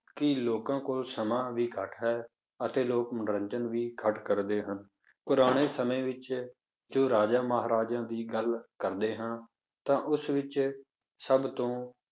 ਕਿ ਲੋਕਾਂ ਕੋਲ ਸਮਾਂ ਵੀ ਘੱਟ ਹੈ ਅਤੇ ਲੋਕ ਮਨੋਰੰਜਨ ਵੀ ਘੱਟ ਕਰਦੇ ਹਨ, ਪੁਰਾਣੇ ਸਮੇਂ ਵਿੱਚ ਜੋ ਰਾਜਿਆਂ ਮਹਾਰਾਜਿਆਂ ਦੀ ਗੱਲ ਕਰਦੇ ਹਾਂ, ਤਾਂ ਉਸ ਵਿੱਚ ਸਭ ਤੋਂ